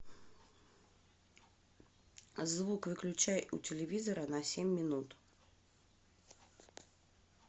звук выключай у телевизора на семь минут